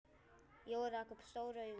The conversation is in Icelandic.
Jói rak upp stór augu.